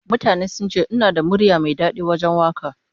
Mutane sun ce ina da murya mai dadi wajen waka